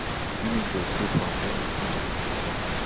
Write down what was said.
unifil so far don refuse dis requests